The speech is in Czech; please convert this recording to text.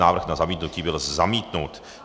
Návrh na zamítnutí byl zamítnut.